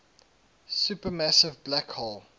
supermassive black hole